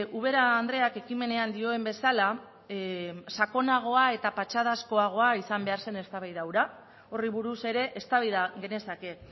ubera andreak ekimenean dioen bezala sakonagoa eta patxadazkoagoa izan behar zen eztabaida hura horri buruz ere eztabaida genezake